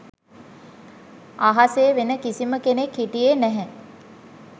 අහසේ වෙන කිසිම කෙනෙක් හිටියේ නැහැ